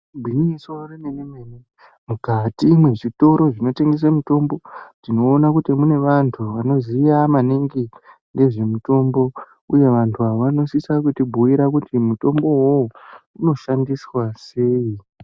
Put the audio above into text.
Igwinyiso remenemene mukati mwezvitoro zvinotengese mitombo tinoona kuti mune vanthu vanoziya maningi nezvemitombo uye vanhu avo vanosisa kutibhiira kuti mutombo uwowo unoshandiswa sei.